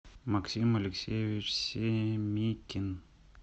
максим алексеевич семикин